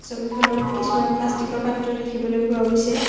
ছবিখনত কিছুমান প্লাষ্টিক ৰ পাত্ৰ দেখিবলৈ পোৱা গৈছে।